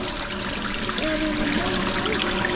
Erum við nógu góðir?